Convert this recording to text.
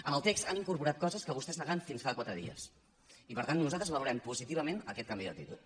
en el text han incorporat coses que vostès negaven fins fa quatre dies i per tant nosaltres valorem positivament aquest canvi d’actitud